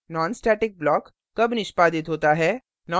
nonstatic block कब निष्पादित होता है